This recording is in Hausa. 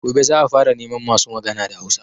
Gobe za a fara neman masu magana da Hausa